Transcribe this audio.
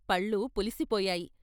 పళ్ళు పులిసిపోయాయి.